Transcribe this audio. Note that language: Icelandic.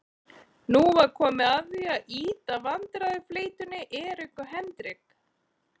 Nú var komið að því að ýta vandræðafleytunni Eriku Hendrik